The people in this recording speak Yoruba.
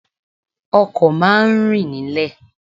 Ọkọ̀ má a ń rìn nílẹ̀